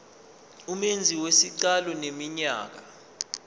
umenzi wesicelo eneminyaka